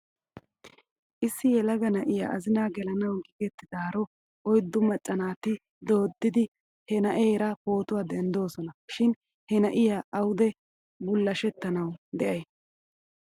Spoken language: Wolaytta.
Issi yelaga na'iyaa azinaa gelanaw giigettidaaro oyddu macca naati dooddidi he na'eera pootuwaa denddoosona shin he na'iyaa awde bullashettanaw de'ay?